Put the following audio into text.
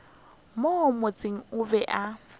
mo motseng o be a